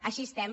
així estem